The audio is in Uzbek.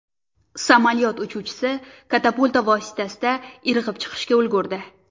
Samolyot uchuvchisi katapulta vositasida irg‘ib chiqishga ulgurdi.